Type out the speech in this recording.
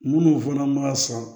Munnu fana ma sɔn